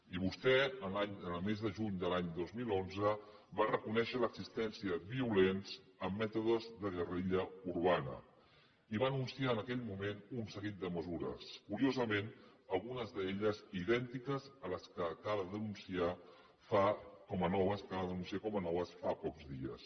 i vostè el mes de juny de l’any dos mil onze va reconèixer l’existència de violents amb mètodes de guerrilla urbana i va anunciar en aquell moment un seguit de mesures curiosament algunes d’elles idèntiques a les que acaba d’anunciar com a noves fa pocs dies